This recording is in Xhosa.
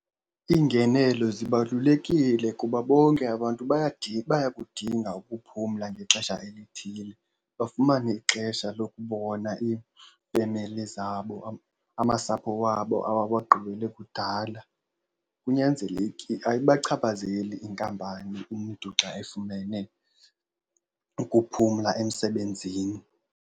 Iingenelo zibalulekile kuba bonke abantu bayakudinga ukuphumla ngexesha elithile. Bafumane ixesha lokubona iifemeli zabo, amasapho wabo abawagqibele kudala. Kunyanzelekile, ayibachaphazeli inkampani umntu xa efumene ukuphumla emsebenzini.